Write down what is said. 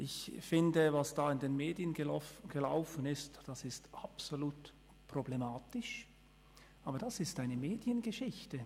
Ich finde, es ist absolut problematisch, was da in den Medien gelaufen ist, aber das ist eine Mediengeschichte.